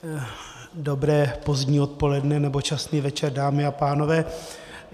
Dobré pozdní odpoledne nebo časný večer, dámy a pánové.